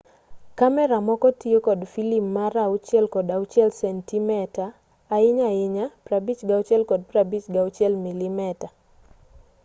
kamera moko tiyo kod filim mar 6 kod 6 sentimeta ahinya ahinya 56 kod 56 milimeta